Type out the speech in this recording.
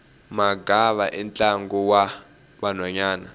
magava i ntlangu wa vanhwanyana